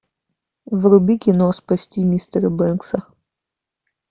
вруби кино спасти мистера бэнкса